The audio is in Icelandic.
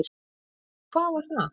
Og hvað var það?